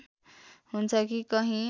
हुन्छ कि कहीँ